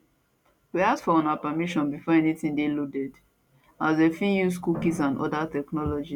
we ask for una permission before anytin dey loaded as dem fit dey use cookies and oda technologies